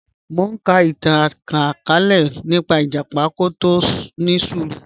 Mọ̀ n ká ìtàn ìtànkalẹ̀ nípa ìjàpá tó kò ni ṣúrù